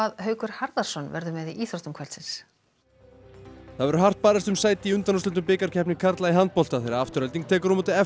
Haukur Harðarson verður með í íþróttum kvöldsins það verður hart barist um sæti í undanúrslitum bikarkeppni karla í handbolta þegar Afturelding tekur á móti f